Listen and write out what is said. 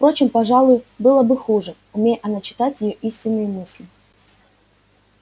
впрочем пожалуй было бы хуже умей она читать её истинные мысли